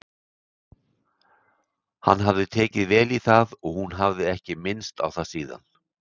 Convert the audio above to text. Hann hafði tekið vel í það en hún hafði ekki minnst á það síðan.